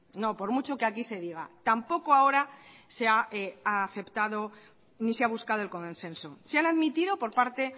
no por mucho que aquí se diga tampoco ahora se ha aceptado ni se ha buscado el consenso se han admitido por parte